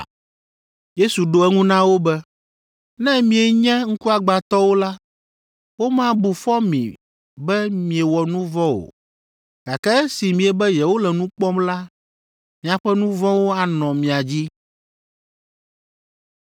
Yesu ɖo eŋu na wo be, “Ne mienye ŋkuagbãtɔwo la, womabu fɔ mi be miewɔ nu vɔ̃ o, gake esi miebe yewole nu kpɔm la, miaƒe nu vɔ̃wo anɔ mia dzi.”